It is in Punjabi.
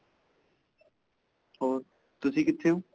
ਹੋਰ ਤੁਸੀਂ ਕਿੱਥੇ ਹੋ?